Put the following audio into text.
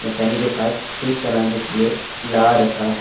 Mechanic के पास ठीक कराने के लिए ला रखा है।